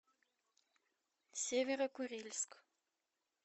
северо курильск